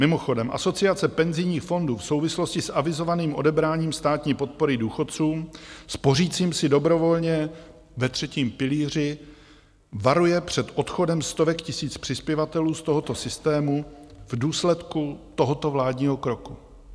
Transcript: Mimochodem, Asociace penzijních fondů v souvislosti s avizovaným odebráním státní podpory důchodcům spořícím si dobrovolně ve třetím pilíři varuje před odchodem stovek tisíc přispěvatelů z tohoto systému v důsledku tohoto vládního kroku.